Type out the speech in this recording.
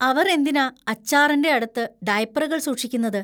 അവർ എന്തിനാ അച്ചാറിന്‍റെ അടുത്ത് ഡയപ്പറുകൾ സൂക്ഷിക്കുന്നത്?